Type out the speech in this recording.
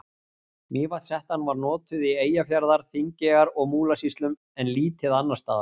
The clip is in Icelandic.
Mývatnshettan var notuð í Eyjafjarðar-, Þingeyjar- og Múlasýslum en lítið annars staðar.